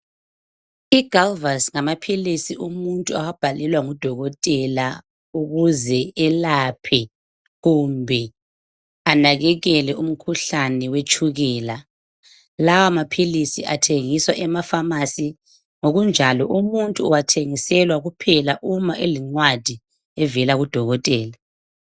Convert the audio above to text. IGalvus ngamaphilisi umuntu awabhalelwa ngudokotela ukuze elaphe kumbe anakekele umkhuhlane wetshukela. Lawa maphilisi athengiswa emapharmacy, ngokunjalo umuntu uwathengiselwa kuphela uma elencwadi evela kudokotela.